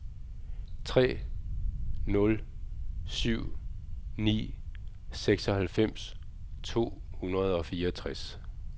tre nul syv ni seksoghalvfems to hundrede og fireogtres